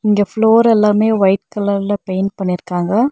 இங்க ஃப்ளோர் எல்லாமே ஒயிட் கலர்ல பெயிண்ட் பண்ணிருக்காங்க.